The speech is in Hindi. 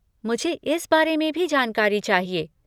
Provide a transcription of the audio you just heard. मुझे इस बारे में भी जानकारी चाहिए।